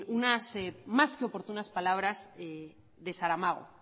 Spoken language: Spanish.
unas más que oportunas palabras de saramago